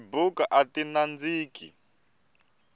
tibuku ati nandziki